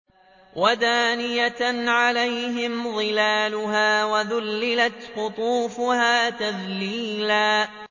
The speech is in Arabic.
وَدَانِيَةً عَلَيْهِمْ ظِلَالُهَا وَذُلِّلَتْ قُطُوفُهَا تَذْلِيلًا